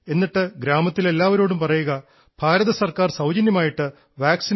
എന്നിട്ട് ഗ്രാമത്തിൽ എല്ലാവരോടും പറയുക ഭാരതസർക്കാർ സൌജന്യമായിട്ട് വാക്സിൻ കൊടുക്കുന്നുണ്ടെന്ന്